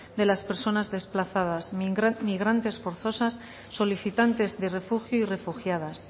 de las personas desplazadas migrantes forzosas solicitantes de refugio y refugiadas